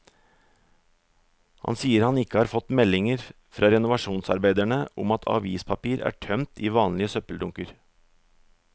Han sier han ikke har fått meldinger fra renovasjonsarbeiderne om at avispapir er tømt i vanlige søppeldunker.